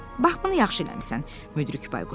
Bax bunu yaxşı eləmisən, Müdrik Bayquş dedi.